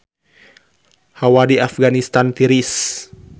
Hawa di Afganistan tiris